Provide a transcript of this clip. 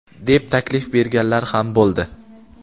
deb taklif berganlar ham bo‘ldi.